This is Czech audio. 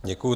Děkuju.